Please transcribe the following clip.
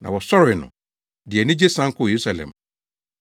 Na wɔsɔree no, de anigye san kɔɔ Yerusalem.